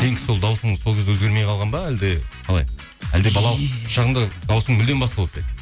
сенікі сол дауысыңыз сол кезде өзгермей қалған ба әлде қалай әлде балалық шағыңда дауысың мүлдем басқа болып па еді